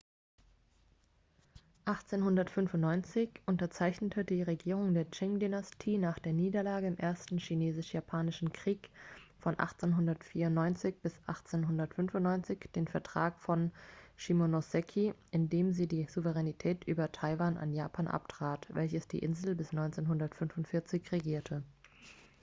1895 unterzeichnete die regierung der qing-dynastie nach der niederlage im ersten chinesisch-japanischen krieg 1894-1895 den vertrag von shimonoseki in dem sie die souveränität über taiwan an japan abtrat welches die insel bis 1945 regierte